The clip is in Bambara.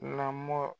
Lamɔ